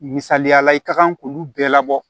Misaliyala i ka kan k'olu bɛɛ labɔ